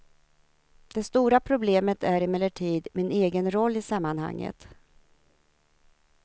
Det stora problemet är emellertid min egen roll i sammanhanget.